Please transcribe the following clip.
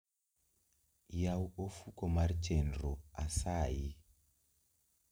Yaw ofuko mar chenro asayi